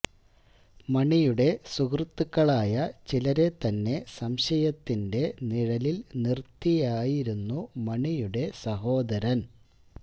മണിയുടെ സുഹൃത്തുക്കളായ ചിലരെ തന്നെ സംശയത്തിന്റെ നിഴലിൽ നിർത്തിയായിരുന്നു മണിയുടെ സഹോദരൻ